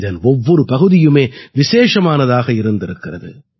இதன் ஒவ்வொரு பகுதியுமே விசேஷமானதாக இருந்திருக்கிறது